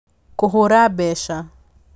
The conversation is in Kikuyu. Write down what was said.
Kũhũra mbeca: